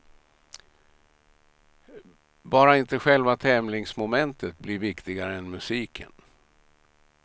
Bara inte själva tävlingsmomentet blir viktigare än musiken.